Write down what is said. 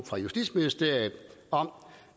fra justitsministeriet om